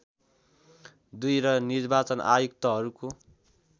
दुई र निर्वाचन आयुक्तहरूको